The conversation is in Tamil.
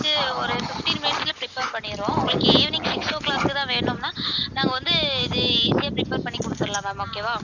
ஒரு fifteen minutes ல prepare பண்ணிருவோம் உங்களுக்கு evening six o'clock தான் வேணும்ன்னா நாங்க வந்து இது easy ஆ prepare பண்ணி குடுத்துறலாம் ma'am okay வா